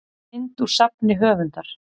mynd úr safni höfundar